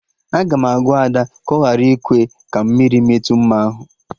Aga m agwa Ada ka ọ ghara ịkwe ka mmiri metụ mma ahụ